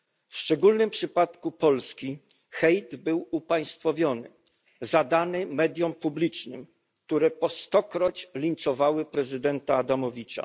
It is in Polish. W szczególnym przypadku Polski hejt był upaństwowiony, zadany mediom publicznym, które po stokroć linczowały prezydenta Adamowicza.